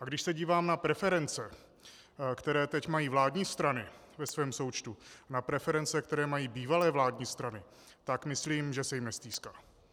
A když se dívám na preference, které teď mají vládní strany ve svém součtu, na preference, které mají bývalé vládní strany, tak myslím, že se jim nestýská.